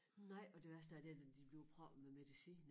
Nej og det værste er der da de bliver proppet med medicin